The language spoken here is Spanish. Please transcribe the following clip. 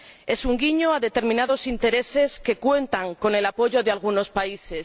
Es un guiño a determinados intereses que cuentan con el apoyo de algunos países.